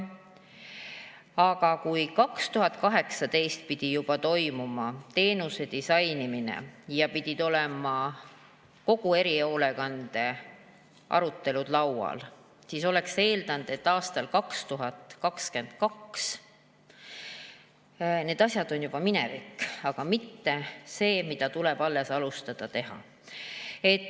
Aga kui 2018 pidi juba toimuma teenuse disainimine ja pidid olema kõik erihoolekande arutelud laual, siis oleks eeldanud, et aastal 2022 need asjad on juba minevik, mitte et tuleb alles alustada.